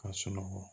Ka sunɔgɔ